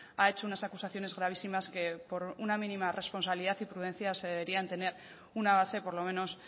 ha hecho unas acusaciones gravísimas que por una mínima responsabilidad y prudencia se deberían tener una base por lo menos